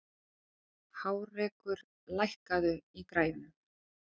Hárekur, lækkaðu í græjunum.